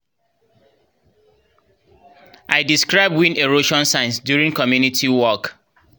i describe wind erosion signs during community walk